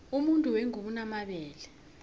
umuntu wengubo unomabele